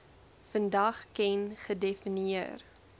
vandag ken gedefinieer